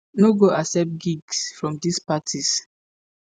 no go accept gigs from dis parties.